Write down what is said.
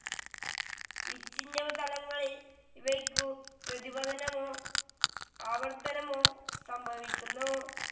വിച്ഛിന്നതലങ്ങളിൽ ഇവയ്ക്കു പ്രതിപതനമോ അപവർത്തനമോ സംഭവിക്കുന്നു.